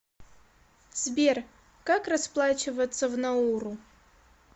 сбер как расплачиваться в науру